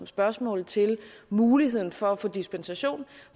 spørgsmål til muligheden for at få dispensation